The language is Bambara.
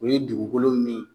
O ye dugukolo min